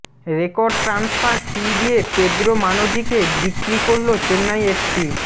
record transfer fee দিয়ে Pedro মানজিকে বিক্রি করল চেন্নাই এফসি